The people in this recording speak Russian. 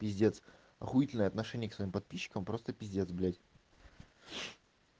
пиздец охуительное отношение к своим подписчикам просто пиздец блядь